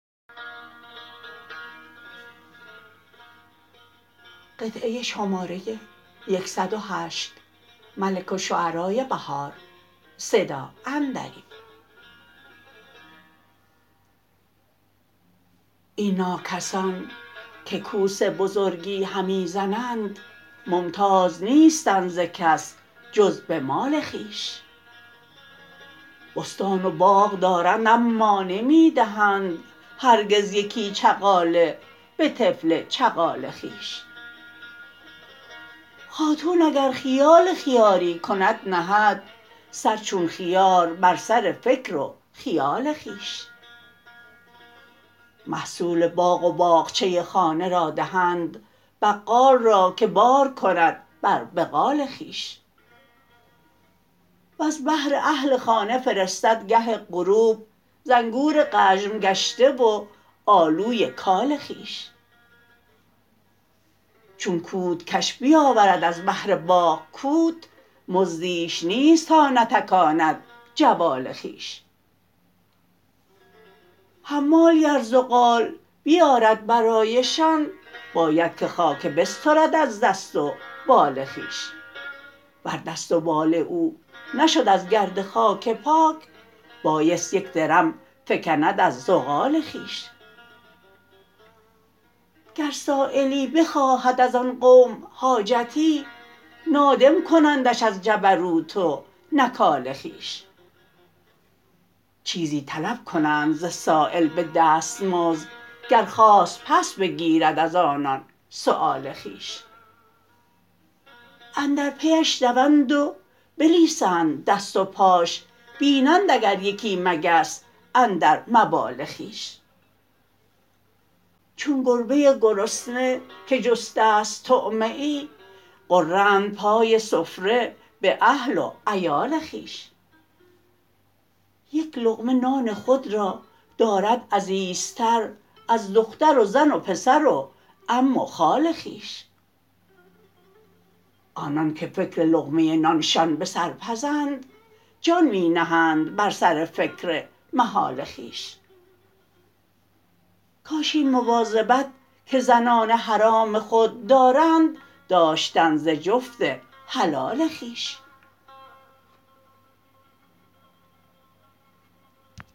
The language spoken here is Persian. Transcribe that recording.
این ناکسان که کوس بزرگی همی زنند ممتاز نیستند ز کس جز به مال خوبش بستان و باغ دارند اما نمی دهند هرگز یکی چغاله به طفل چغال خویش خاتون اگر خیال خیاری کند نهد سر چون خیار بر سر فکر و خیال خویش محصول باغ و باغچه خانه را دهند بقال راکه بارکند بر بغال خویش وز بهر اهل خانه فرستدگه غروب زانگور غژم گشته و آلوی کال خویش چون کوت کش بیاورد از بهر باغ کوت مزدیش نیست تا نتکاند جوال خویش حمالی ار زغال بیارد برایشان باید که خاکه بسترد از دست و بال خویش ور دست و بال او نشد ازگرد خاکه پاک بایست یک درم فکند از زغال خویش گر سایلی بخواهد از آن قوم حاجتی نادم کنندش از جبروت و نکال خوبش چیزی طلب کنند ز سایل به دست مزد گر خواست پس بگیرد از آنان سؤال خویش اندر پیش دوند و بلیسند دست و پاش بینند اگر یکی مگس اندر مبال خوبش چون گربه گرسنه که جسته است طعمه ای غرند پای سفره به اهل و عیال خوبش یک لقمه نان خود را دارد عزیزتر از دختر و زن و پسر و عم و خال خویش آنان که فکر لقمه نانشان به سر پزند جان می نهند بر سر فکر محال خوبش کاش این مواظبت که زنان حرام خود دارند داشتند ز جفت حلال خویش